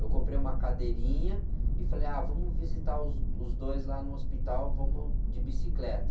Eu comprei uma cadeirinha e falei, ah, vamos visitar os, os dois lá no hospital, vamos de bicicleta.